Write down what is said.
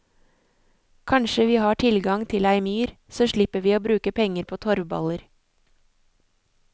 Kanskje vi har tilgang til ei myr, så slipper vi å bruke penger på torvballer.